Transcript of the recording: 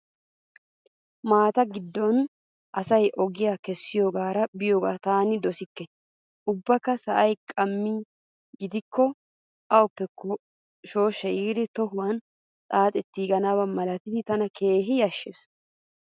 Maata giddon asay ogiyaa keessoogaara biyoogaa taani dosikke. Ubbakka sa"ay qamma gidikko awuppekko shooshshay yiidi tohowan xaaxettiganaba malatidi tana keehin yashshees.